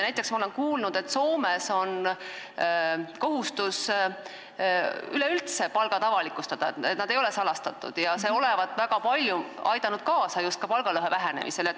Näiteks olen ma kuulnud, et Soomes on kohustus üleüldse palgad avalikustada, need ei ole salastatud ja see olevat väga palju aidanud kaasa just palgalõhe vähenemisele.